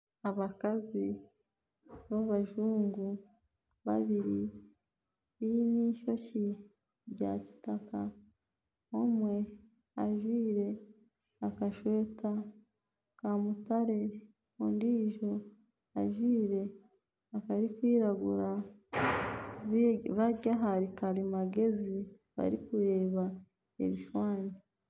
Abakazi b'abajungu babiri baine eishokye rya kitaka omwe ajwaire akasweeta kamutare ondiijo ajwaire akarikwiragura bari ahari karimagezi barikureeba ebishushani .